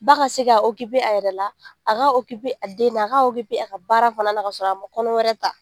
Ba ka se ka a yɛrɛ la, a ka a denw na, a ka a ka baara fana na ka sɔrɔ a ma kɔnɔ wɛrɛ ta.